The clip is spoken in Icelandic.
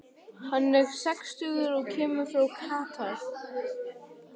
Hann er sextugur og kemur frá Katar.